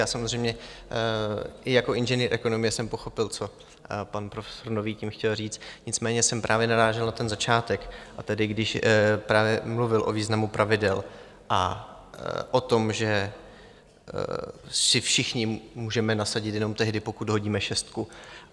Já samozřejmě i jako inženýr ekonomie jsem pochopil, co pan profesor Nový tím chtěl říct, nicméně jsem právě narážel na ten začátek, a tedy když právě mluvil o významu pravidel a o tom, že si všichni můžeme nasadit jenom tehdy, pokud hodíme šestku.